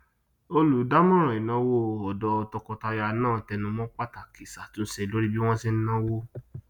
olùdámọràn ìnáwó ọdọ tọkọtaya náà tẹnu mọ pàtàkì ìṣàtúnṣe lórí bí wọn ń se nàwó